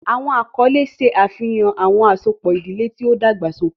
Awọn akọle ṣe afihan awọn asopọ idile ti o dagbasoke.